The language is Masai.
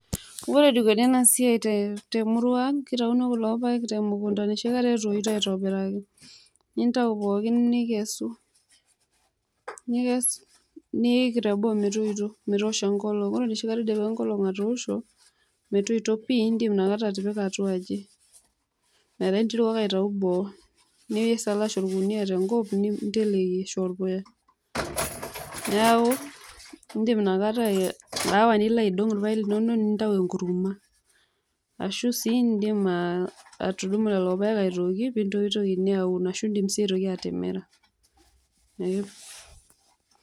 Ore enikoni ena siai te murua ang', kitauni kulo paek te mukunda enoshi kata etoito aitobiraki nintau pookin nikesu, nikes niik teboo metoito metoosho enkolong'. Ore enoshi kata idipa enkolong' atoosho, metoito pii indim inakata atipika atua aji metaa aitau boo nisalash orkunia te nkop ninteleki arashu orpuya. Neeku indim inakata aawa nilo aidong' irpaek linonok nintau enkuruma ashu sii indim atudumu lelo paek apik aji piitokini aun ashu sii piitumoki atimira ee.